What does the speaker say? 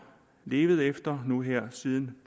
levet efter nu her siden